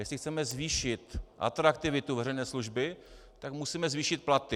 Jestli chceme zvýšit atraktivitu veřejné služby, tak musíme zvýšit platy.